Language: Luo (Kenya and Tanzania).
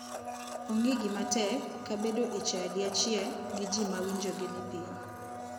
Onge gimatek ka bedo e chadi achiel gi ji ma winjogi ni piny.